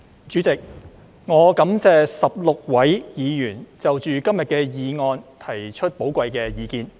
主席，我感謝16位議員就今天的議案提出寶貴的意見。